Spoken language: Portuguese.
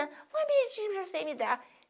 para você me dar.